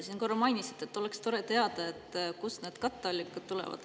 Te korra mainisite, et oleks tore teada, kust need katteallikad tulevad.